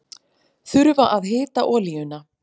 Þurfa að hita olíuna